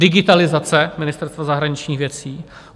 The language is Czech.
digitalizace Ministerstva zahraničních věcí;